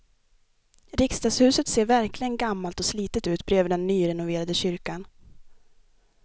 Riksdagshuset ser verkligen gammalt och slitet ut bredvid den nyrenoverade kyrkan.